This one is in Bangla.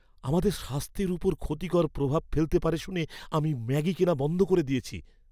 আমাদের স্বাস্থ্যের ওপর ক্ষতিকর প্রভাব ফেলতে পারে শুনে আমি ম্যাগি কেনা বন্ধ করে দিয়েছি।